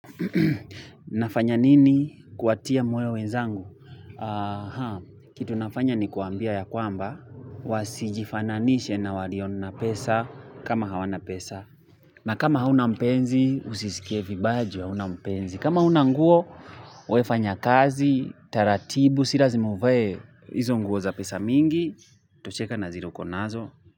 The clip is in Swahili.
Nafanya nini kuwatia moyo wenzangu? Kitu nafanya ni kuwaambia ya kwamba, wasijifananisha na walio na pesa kama hawana pesa. Na kama hauna mpenzi, usisikie vibaya ju hauna mpenzi. Kama huna nguo, we fanya kazi, taratibu, si lazima uvae, hizo nguo za pesa mingi, tosheka na zile ukonazo.